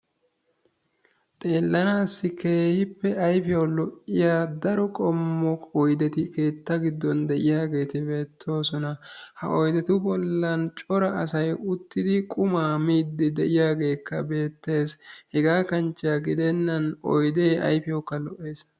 Xellanassi keehippe ayfiyaaw lo''iyaa cora qommo oydeti issi keettan de'iyaageeti beettoosona. ha oydetu bollan uttidi cora asay qumay miidi diyaageeti beettoosona. hega kanchche gidenan oydeeti ayfiyaw xeelanawukka lo''essi.